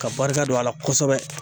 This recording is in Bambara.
Ka barika don a la kosɛbɛ